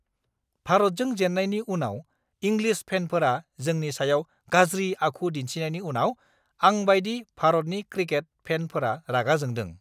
भारतजों जेननायनि उनाव इंलिस फेनफोरा जोंनि सायाव गाज्रि आखु दिन्थिनायनि उनाव आंबायदि भारतनि क्रिकेट फेनफोरा रागा जोंदों!